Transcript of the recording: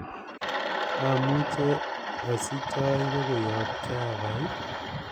amuche asich cheoipe koyob java ii